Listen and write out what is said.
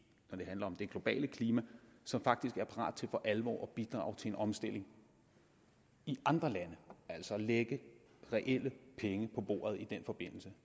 handler om det globale klima som faktisk er parat til for alvor at bidrage til en omstilling i andre lande altså at lægge reelle penge på bordet i den forbindelse